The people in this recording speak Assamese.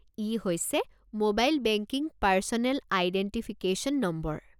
ই হৈছে mobile banking personal identification number.